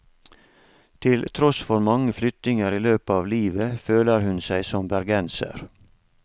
Til tross for mange flyttinger i løpet av livet, føler hun seg som bergenser.